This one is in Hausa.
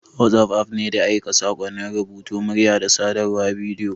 WhatsApp app ne na aika saƙonnin rubutu, murya, da sadarwar bidiyo.